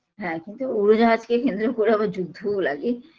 হ্যাঁ কিন্তু উড়োজাহাজকে কেন্দ্র করে আবার যুদ্ধও লাগে